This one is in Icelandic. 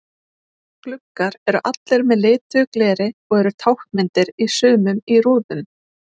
Gluggar eru allir með lituðu gleri og eru táknmyndir í sumum í rúðum.